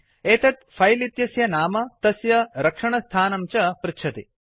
एतत् फिले इत्यस्य नाम तस्य रक्षणस्थानं च पृच्छति